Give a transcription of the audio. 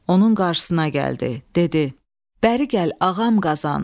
Onun qarşısına gəldi, dedi: Bəri gəl, ağam Qazan.